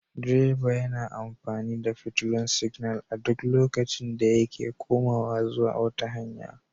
Direba yana amfani da fitilun siginal a duk lokacin da yake komawa zuwa wata hanya.